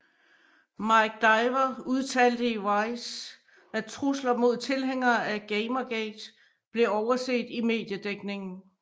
Mike Diver udtalte i Vice at trusler mod tilhængere af Gamergate blev overset i mediedækningen